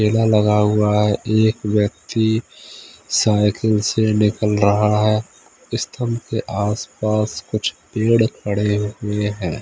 मेला लगा हुआ हैएक व्यक्ति साइिकल से निकल रहा है स्तंभ केे आस-पास कुछ पेड़ खड़े हुए हैं।